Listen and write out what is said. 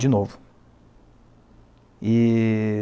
De novo. E